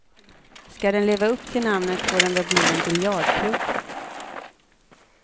Ska den leva upp till namnet får den väl bli en biljardklubb.